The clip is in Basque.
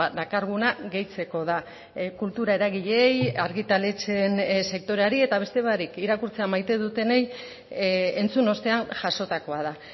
dakarguna gehitzeko da kultura eragileei argitaletxeen sektoreari eta beste barik irakurtzea maite dutenei entzun ostean jasotakoa da